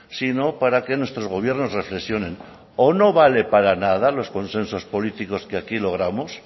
sino para que nuestros gobiernos reflexionen o no valen para nada los consensos políticos que aquí logramos